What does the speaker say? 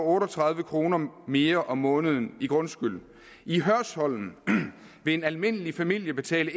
otte og tredive kroner mere om måneden i grundskyld i hørsholm vil en almindelig familie betale